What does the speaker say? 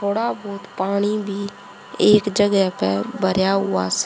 थोड़ा बहोत पानी भी एक जगह पे भरेया हुआ से--